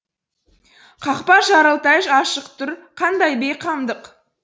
қақпа жартылай ашық тұр қандай бейқамдық